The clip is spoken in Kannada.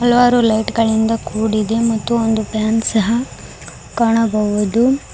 ಹಲವಾರು ಲೈಟ್ ಗಳಿಂದ ಕೂಡಿದೆ ಮತ್ತು ಫ್ಯಾನ್ ಸಹ ಕಾಣಬಹುದು.